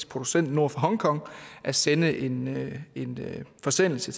producent nord for hongkong at sende en forsendelse